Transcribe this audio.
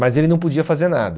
Mas ele não podia fazer nada.